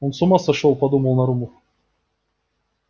он с ума сошёл подумал нарумов